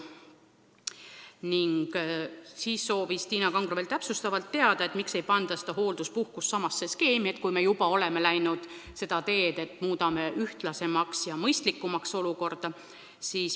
Tiina Kangro soovis täpsustavalt veel teada, miks ei panda seda hoolduspuhkust samasse skeemi, kui me juba oleme läinud seda teed, et muudame olukorda mõistlikumaks.